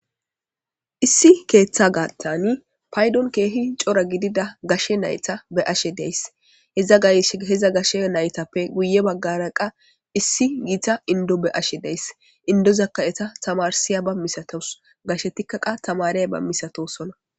issi keeththa gaattani paydon keehi cora gidida gashe nayta be'ashe da'ays iza gashe naytappe guye baggara qa issi yiita indo be'ashe days indozakka eta tamarsiyaba misatos gashe tikkaqa tamareyba misatosona